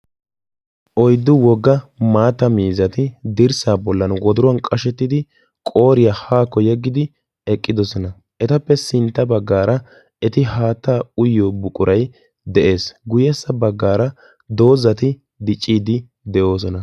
oyddu wogga maata miizati dirssaa bollan wodiruwan qashettidi qooriyaa haakko yeggidi eqqidosona etappe sintta baggaara eti haatta uyyo buqurai de'ees guyyessa baggaara doozati dicciiddi de'oosona